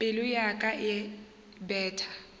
pelo ya ka e betha